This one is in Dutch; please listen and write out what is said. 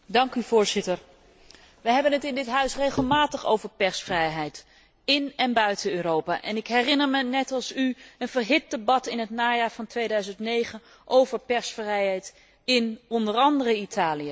Voorzitter, we hebben het in dit Huis regelmatig over persvrijheid in en buiten Europa, en ik herinner me, net als u, een verhit debat in het najaar van 2009 over persvrijheid in onder andere Italië.